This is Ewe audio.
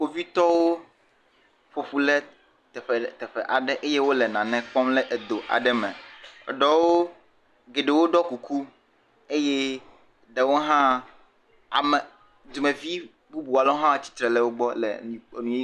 Kpovitɔwo ƒo ƒu le teƒe le teƒe ɖe, eye wole nane kpɔm le edo aɖe me. Eɖewoo, gheɖewo ɖɔ kuku eye ɖewo hãaa, ame, dumevi bubu aɖewo hã wotsre le wogbɔ le enu yi.